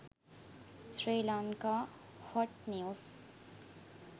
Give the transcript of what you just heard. sri lanka hot news